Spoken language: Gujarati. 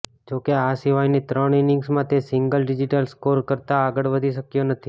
જોકે આ સિવાયની ત્રણ ઈનિંગમાં તે સિંગલ ડિજિટના સ્કોર કરતાં આગળ વધી શક્યો નથી